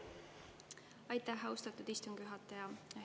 Aitäh, austatud istungi juhataja!